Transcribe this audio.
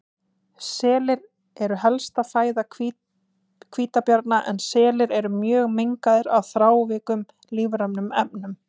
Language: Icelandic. Selir eru helsta fæða hvítabjarna en selir eru mjög mengaðir af þrávirkum lífrænum efnum.